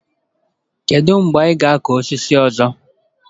Kedu mgbe ị ga-akụ osisi ọzọ?